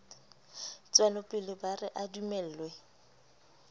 tswelopele ba re a dumellwe